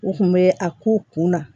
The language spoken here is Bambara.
U kun bɛ a ko kunna